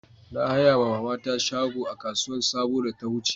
Na haya ma mama ta shago a kasuwan sabo makon da ta wuce